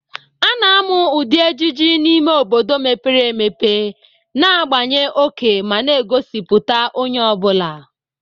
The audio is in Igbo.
A na-amụ ụdị ejiji n'ime obodo mepere emepe, na-agbanye oke ma na-egosipụta onye ọ bụla.